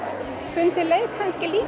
fundið leið kannski líka